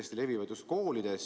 Need levivad kiiresti.